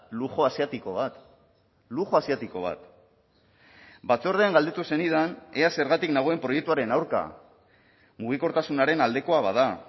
lujo asiatiko bat lujo asiatiko bat batzordean galdetu zenidan ea zergatik nagoen proiektuaren aurka mugikortasunaren aldekoa bada